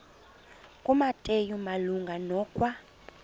kumateyu malunga nokwa